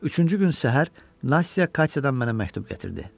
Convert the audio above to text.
Üçüncü gün səhər Nastya Katyadan mənə məktub gətirdi.